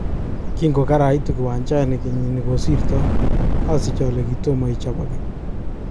kinkokaraitu kiwanjani kenyini kosirto, osich ole kitomo ichopoke.